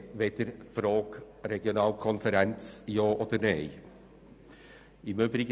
Die SARZ ist mehr als diese Frage.